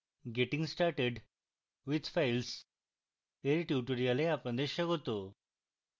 getting started with files এর tutorial আপনাদের স্বাগত